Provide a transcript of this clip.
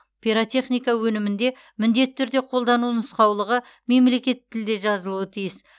пиротехника өнімінде міндетті түрде қолдану нұсқаулығы мемлекеттік тілде жазылуы тиіс